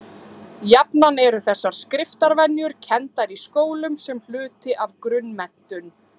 Jafnan eru þessar skriftarvenjur kenndar í skólum sem hluti af grunnmenntun.